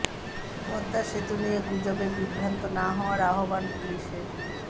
পদ্মা সেতু নিয়ে গুজবে বিভ্রান্ত না হওয়ার আহ্বান পুলিশের